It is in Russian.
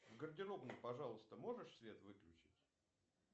в гардеробной пожалуйста можешь свет выключить